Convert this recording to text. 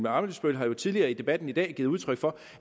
ammitzbøll har jo tidligere i debatten i dag givet udtryk for